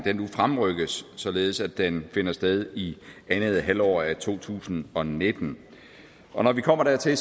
fremrykkes således at den finder sted i andet halvår af to tusind og nitten og når vi kommer dertil